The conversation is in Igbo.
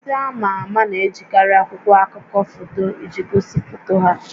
Ndị ama ama na-ejikarị akwụkwọ akụkọ foto iji gosi foto ha